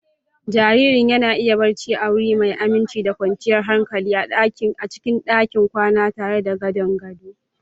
Jaririn yana iya barci a wuri mai aminci da kwanciyar hankali a cikin ɗakin kwana tare da gadon gado.